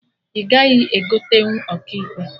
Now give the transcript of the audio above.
Ị gaghị egotenwu Ọkaikpe!